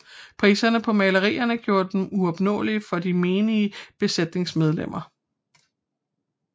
Priserne på malerierne gjorde dem uopnåelige for de menige besætningsmedlemmer